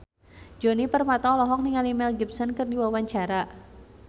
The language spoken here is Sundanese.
Djoni Permato olohok ningali Mel Gibson keur diwawancara